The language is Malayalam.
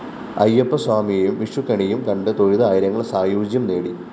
അയ്യപ്പസ്വാമിയേയും വിഷുക്കണിയും കണ്ട് തൊഴുത് ആയിരങ്ങള്‍ സായൂജ്യം നേടി